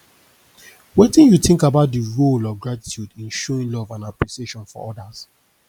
wetin you think about di role of gratitude in showing love and appreciation for odas